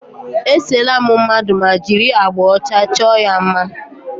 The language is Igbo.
E seela m mmadụ ma jiri agbà ọcha chọọ ya mma.